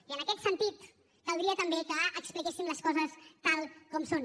i en aquest sentit caldria també que expliquéssim les coses tal com som